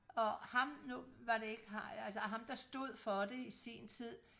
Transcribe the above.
og ham nu var det ikke altså ham der stod for det i sin tid